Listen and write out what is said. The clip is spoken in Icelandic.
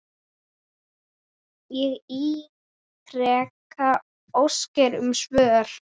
Ég ítreka óskir um svör.